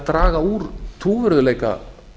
draga úr trúverðugleika